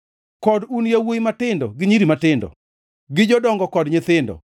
kod un yawuowi matindo gi nyiri matindo, gi jodongo kod nyithindo.